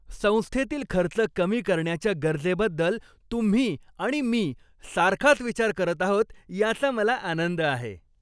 संस्थेतील खर्च कमी करण्याच्या गरजेबद्दल तुम्ही आणि मी सारखाच विचार करत आहोत याचा मला आनंद आहे.